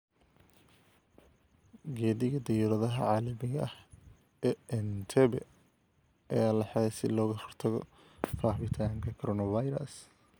Gegida dayuuradaha caalamiga ah ee Entebbe ayaa la xidhay si looga hortago faafitaanka coronavirus.